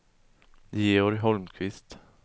Georg Holmqvist